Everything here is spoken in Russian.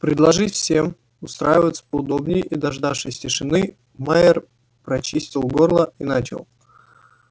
предложив всем устраиваться поудобнее и дождавшись тишины майер прочистил горло и начал